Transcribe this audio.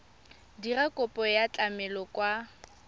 dira kopo ya tlamelo kwa